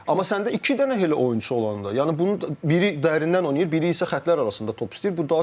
Amma səndə iki dənə elə oyunçu olanda, yəni bunu biri dərindən oynayır, biri isə xəttlər arasında top istəyir.